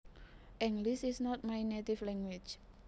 English is not my native language